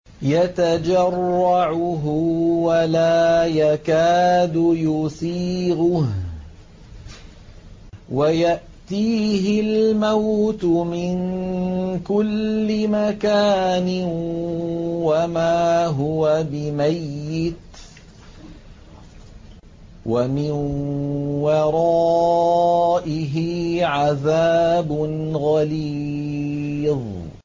يَتَجَرَّعُهُ وَلَا يَكَادُ يُسِيغُهُ وَيَأْتِيهِ الْمَوْتُ مِن كُلِّ مَكَانٍ وَمَا هُوَ بِمَيِّتٍ ۖ وَمِن وَرَائِهِ عَذَابٌ غَلِيظٌ